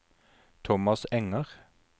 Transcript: Thomas Enger